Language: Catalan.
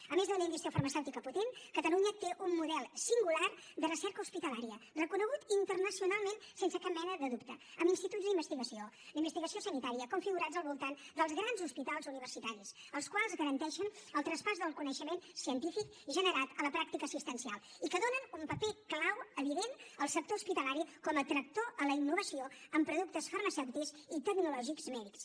a més d’una indústria farmacèutica potent catalunya té un model singular de recerca hospitalària reconegut internacionalment sense cap mena de dubte amb instituts d’investigació d’investigació sanitària configurats al voltant dels grans hospitals universitaris els quals garanteixen el traspàs del coneixement científic generat a la pràctica assistencial i que donen un paper clau evident al sector hospitalari com a tractor en la innovació en productes farmacèutics i tecnològics mèdics